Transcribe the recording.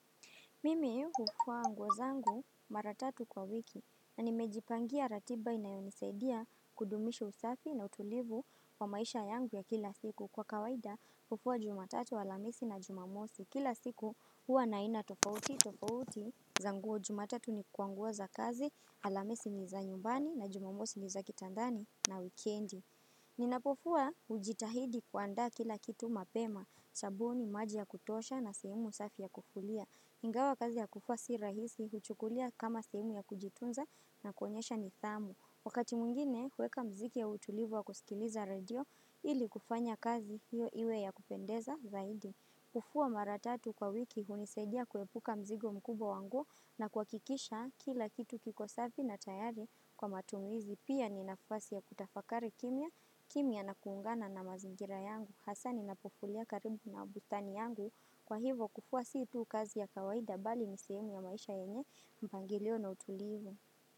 Mimi hufua anguwa zangu mara tatu kwa wiki na nimejipangia ratiba inayonisaidia kudumisha usafi na utulivu wa maisha yangu ya kila siku kwa kawaida hufua jumatatu alamisi na jumamosi kila siku huwa naina tofauti tofauti zanguwa jumatatu ni kwa nguo za kazi alamisi ni za nyumbani na jumamosi ni za kitandani na wikiendi. Ninapofua ujitahidi kuandaa kila kitu mapema, sabuni, maji ya kutosha na sehemu safi ya kufulia Ingawa kazi ya kufua si rahisi, huchukulia kama sehemu ya kujitunza na kuonyesha nithamu Wakati mwingine, huweka mziki ya utulivu wa kusikiliza radio ili kufanya kazi hiyo iwe yakupendeza zaidi kufuwa mara tatu kwa wiki hunisaidia kuepuka mzigo mkubwa wa nguo na kuhakikisha kila kitu kiko safi na tayari kwa matumizi pia ni nafasi ya kutafakari kimya, kimya na kuungana na mazingira yangu. Hasa ninapofulia karibu na bustani yangu kwa hivo kufua si tu kazi ya kawaida bali ni sehemu ya maisha yenye mpangilio na utulivu.